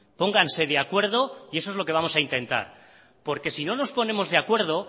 pónganse de acuerdo y eso es lo que vamos a intentar porque si no nos ponemos de acuerdo